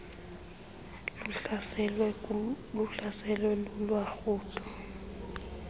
luhlaselwe lula lurhudo